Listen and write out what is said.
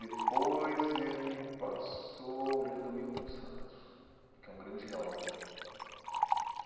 Depois, ele me passou o livro do Milton Santos, que é um grande geógrafo.